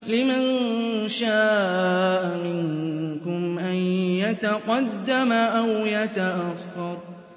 لِمَن شَاءَ مِنكُمْ أَن يَتَقَدَّمَ أَوْ يَتَأَخَّرَ